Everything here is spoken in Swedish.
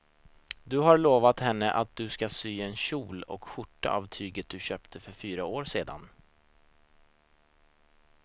Du har lovat henne att du ska sy en kjol och skjorta av tyget du köpte för fyra år sedan.